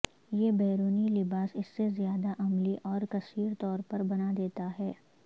یہ بیرونی لباس اس سے زیادہ عملی اور کثیر طور پر بنا دیتا ہے